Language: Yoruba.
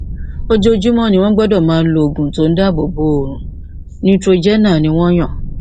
ojoojúmọ ni wọn gbọdọ máa lo oògùn tó ń dáàbò bo oòrùn neutrogena ni wọn yàn